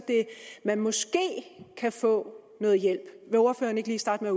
man måske kan få noget hjælp vil ordføreren ikke lige starte med